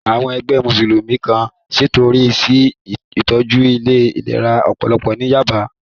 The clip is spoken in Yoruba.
Àwọn ẹgbẹ́ Mùsùlùmí kan ṣètọrẹ sí ìtọ́jú ilé ìlera ọpọlọ ní Yába